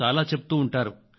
చాలా చాలా చెప్తారు